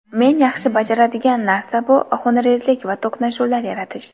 Men yaxshi bajaradigan narsa bu xunrezlik va to‘qnashuvlar yaratish.